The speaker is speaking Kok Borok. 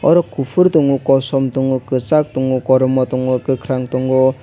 oro kuphur tongo kosom tongo kwchak tongo kormo tongo kwkhwrang tongo.